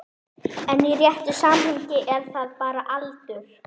En í réttu samhengi er það bara aldur.